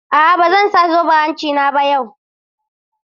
A'a ba zan sa zoben hanci na ba yau.